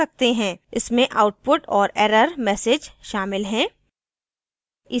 इसमें output और error messages शामिल हैं